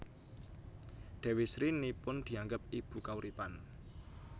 Dewi Sri nipun dianggep ibu kauripan